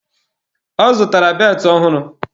Ọ zụtara beltụ ọhụrụ